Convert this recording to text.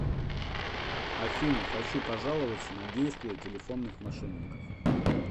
афина хочу пожаловаться на действия телефонных мошенников